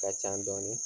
Ka ca dɔɔnin